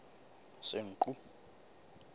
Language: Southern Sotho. senqu